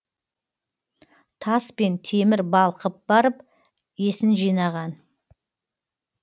тас пен темір балқып барып есін жинаған